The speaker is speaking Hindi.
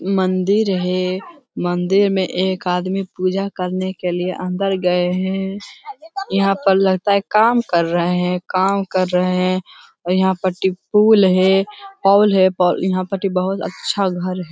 मंदिर है मंदिर में एक आदमी पूजा करने के लिए अंदर गए हैं यहाँ पर लगता है काम कर रहे हैं काम कर रहे हैं और यहाँ पर टि पूल है पॉल है यहाँ पर टि बहुत अच्छा घर।